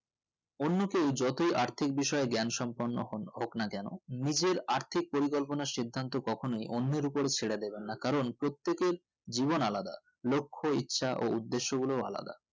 অন্য কেও যতই আর্থিক বিষয়ে জ্ঞান সম্পূর্ণ হন~হোক না কেন নিজের আর্থিক পরিকল্পনা সিদ্ধান্ত কখনোই অন্যের উপর ছেড়ে দেবেন না কারণ প্রতকের জীব আলাদা লক্ষ ইচ্ছা ও উদ্দেশ্য গুলো আলাদা